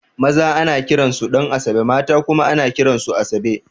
Maza ana kiran su Ɗan'asabe mata kuma ana kiran su Asabe